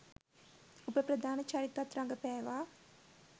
උප ප්‍රධාන චරිතත් රඟපෑවා